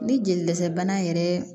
Ni jeli dɛsɛ bana yɛrɛ